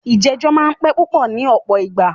ìjẹ̀jọ́ máà ń pẹ́ púpọ ní ọ̀pọ̀ ìgbà.